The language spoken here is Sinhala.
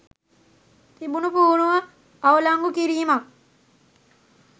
තිබුණු පුහුණුව අවලංගු කිරීමක්